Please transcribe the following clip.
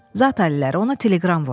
Zat əlləri, ona teleqram vurun.